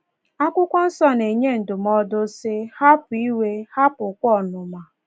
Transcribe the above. Akwụkwọ Nsọ na-enye ndụmọdụ sị: Hapụ iwe, hapụkwa ọnụma.